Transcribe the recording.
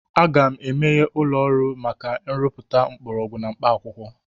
Aga m emeghe ụlọ ọrụ maka nrụpụta mgbọrọgwụ na mkpaakwụkwọ.